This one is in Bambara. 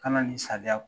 Kana nin sariya